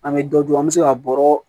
An bɛ dɔ dun an bɛ se ka bɔrɔ